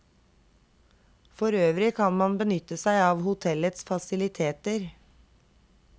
Forøvrig kan man benytte seg av hotellets faciliteter.